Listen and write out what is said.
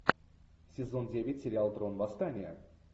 сезон девять сериал трон восстание